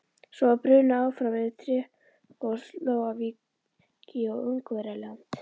Svo var brunað áfram yfir Tékkóslóvakíu og Ungverjaland.